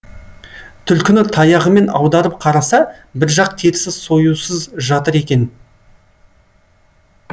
түлкіні таяғымен аударып қараса біржақ терісі союсыз жатыр екен